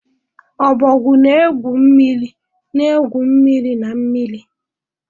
Ọbọgwụ na-egwu mmiri na-egwu mmiri na mmiri.